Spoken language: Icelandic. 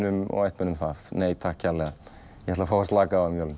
og ættmennum nei takk ég ætla að fá að slaka á um jólin